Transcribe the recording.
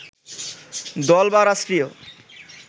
দল বা রাষ্ট্রীয়